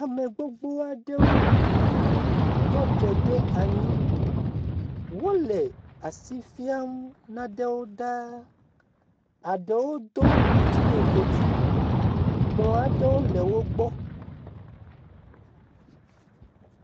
Ame gbogbo aɖewo tɔ te ɖe anyi, wole asi fiam naɖewo daa, eɖewo do ŋɔtime godui, kplɔ aɖewo le wogbɔ.